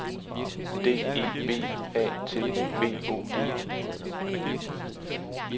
D E B A T B O G